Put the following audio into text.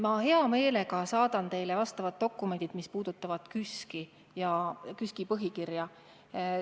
Ma hea meelega saadan teile dokumendid, mis puudutavad KÜSK-i ja selle põhikirja.